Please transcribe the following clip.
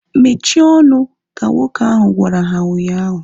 Mechie ọnụ! Ka nwoke ahu gwara ha ụnyaahụ